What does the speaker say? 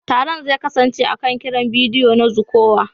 Taron zai kasance akan kiran bidiyo na zuƙowa.